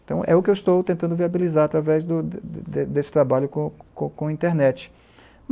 Então é o que eu estou tentando viabilizar através, do, desse trabalho com a internet.